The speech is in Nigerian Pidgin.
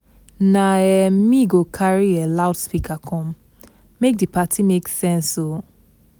Na um me go carry um loudspeaker come, make di party make sense o.